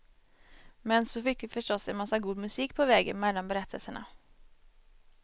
Men så fick vi förstås en massa god musik på vägen mellan berättelserna.